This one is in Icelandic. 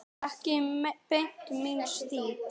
Ekki beint minn stíll.